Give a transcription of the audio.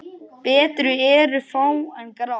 Betri eru fá en grá?